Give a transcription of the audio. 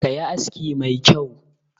Ka yi aski mai kyau!